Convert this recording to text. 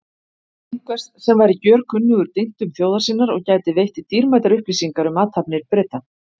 Einhvers sem væri gjörkunnugur dyntum þjóðar sinnar og gæti veitt dýrmætar upplýsingar um athafnir Breta.